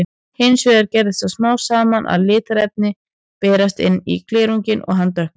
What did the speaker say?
Hins vegar gerist það smám saman að litarefni berast inn í glerunginn og hann dökknar.